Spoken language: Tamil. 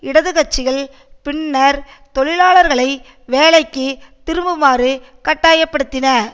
இடது கட்சிகள் பின்னர் தொழிலாளர்களை வேலைக்கு திரும்புமாறு கட்டாயப்படுத்தின